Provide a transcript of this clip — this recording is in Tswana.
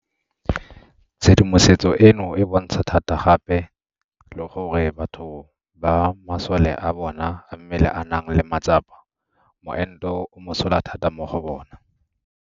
Tshedimosetso eno e bontsha thata gape le gore batho ba masole a bona a mmele a nang le matsapa moento o mosola thata mo go bona.